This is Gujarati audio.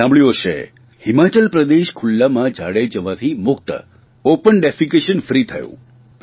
તમે સાંભળ્યું હશે હિમાચલ પ્રદેશ ખુલ્લામાં ઝાડે જવાથી મુક્ત ઓપન ડેફેકેશન ફ્રી થયું